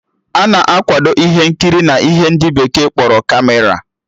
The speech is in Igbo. Ana akwado ihe nkiri n'ihe ndị bekee kpọrọ Kamera